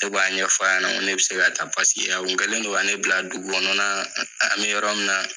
Ne b'a ɲɛf'a yɛna ŋo ne be se ka taa a kun kɛlen don ka ne bila dugu kɔnɔnaa an bɛ yɔrɔ min na